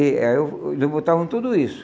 Eh o o Eles botavam tudo isso.